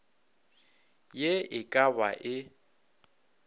ye e ka ba e